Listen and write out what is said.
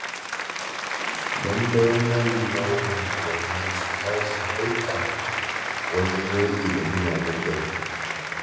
Lallai manyan unguwanni su tashi haiƙan wajen yaƙi da miyagun ɗabi'u.